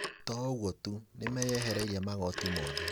To ũguo tu, nĩmeyehereirie magoti mothe